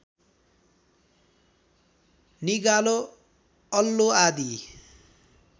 निगालो अल्लो आदि